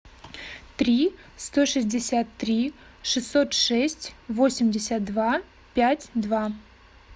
три сто шестьдесят три шестьсот шесть восемьдесят два пять два